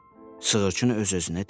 Sığırçın öz-özünə dedi.